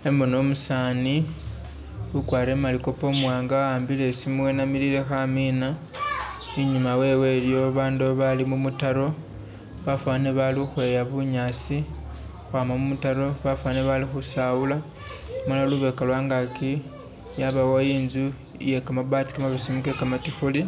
Khembona umusani ukwarile malikopo umuwanga wa'ambile isimu wenamilile khamina inyuma wewe iliyo babandu bali mumutaro bafanile balikhukhweya bunyasi khukhwama mumutaro bafanile bali khusawula amala lubeka lwangaki yabawo intsu iye kamabaati kanabesemu kekamatikhuli